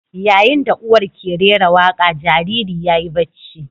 Yayin da uwar ke rera waƙa, jariri yayi bacci.